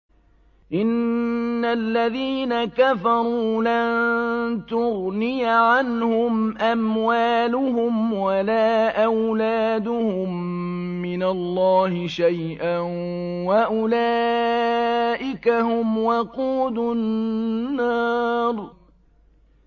إِنَّ الَّذِينَ كَفَرُوا لَن تُغْنِيَ عَنْهُمْ أَمْوَالُهُمْ وَلَا أَوْلَادُهُم مِّنَ اللَّهِ شَيْئًا ۖ وَأُولَٰئِكَ هُمْ وَقُودُ النَّارِ